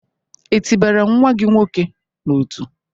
E tị bara nwa gị nwoke n'ọtú?